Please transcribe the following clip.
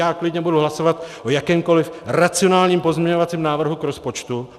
Já klidně budu hlasovat o jakémkoliv racionálním pozměňovacím návrhu k rozpočtu.